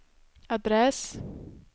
adress